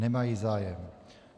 Nemají zájem.